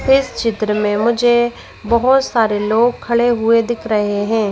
इस चित्र में मुझे बहुत सारे लोग खड़े हुए दिख रहे हैं।